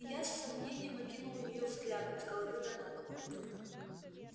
я с сомнением окинул её взглядом с головы до ног